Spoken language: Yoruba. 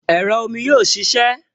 Ẹ̀rọ omi yóò ṣiṣẹ́